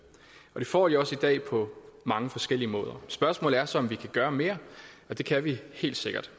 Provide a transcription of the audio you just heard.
og det får de også i dag på mange forskellige måder spørgsmålet er så om vi kan gøre mere og det kan vi helt sikkert